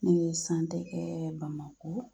Ne ye kɛ BamakO